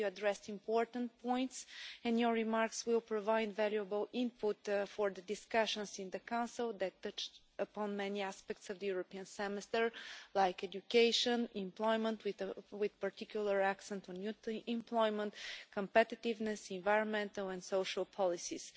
You addressed important points and your remarks will provide valuable input for discussions in the Council that touch upon many aspects of the European Semester, such as education, employment with particular accent on youth employment competitiveness, environmental and social policies.